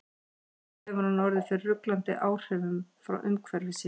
Trúlega hefur hann orðið fyrir ruglandi áhrifum frá umhverfi sínu.